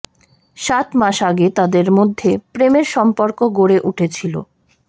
সাত মাস আগে তাদের মধ্যে প্রেমের সম্পর্ক গড়ে উঠেছিল